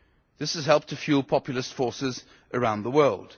This has helped to fuel populist forces around the world.